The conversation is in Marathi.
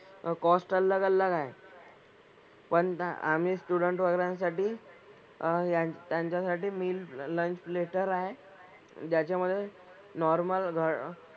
कॉस्ट अलग अलग आहे. पण आम्ही स्टुडंट्स वगैरांसाठी अह त्यांच्या साठी मिल, लंच प्लेट आहे. ज्याच्यामधे नॉर्मल घ,